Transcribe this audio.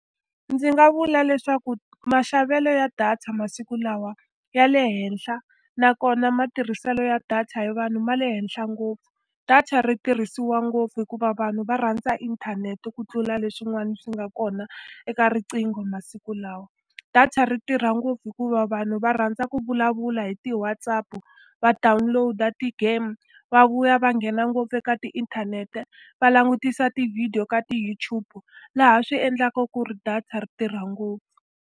Ndzi nga vula leswaku maxavelo ya data masiku lawa ya le henhla, nakona matirhiselo ya data hi vanhu ma le henhla ngopfu. Data ri tirhisiwa ngopfu hikuva vanhu va rhandza inthanete ku tlula leswin'wana swi nga kona eka riqingho masiku lawa. Data ri tirha ngopfu hikuva vanhu va rhandza ku vulavula hi ti-WhatsApp-u, va download-a ti-game, va vuya va nghena ngopfu eka tiinthanete, va langutisa ti-video ka ti-YouTube, laha swi endlaku ku ri data ri tirha ngopfu.